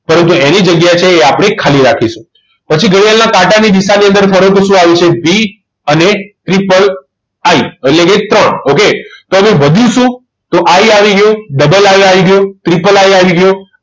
પરંતુ એની જગ્યા છે એ આપણે ખાલી રાખીશું પછી ઘડિયાળની કાંટાની દિશામાં ફરો તો શું આવે છે V અને III એટલે કે ત્રણ okay તો હવે વધ્યું શું તો I આવી ગયો II આવી ગયો III આવી ગયો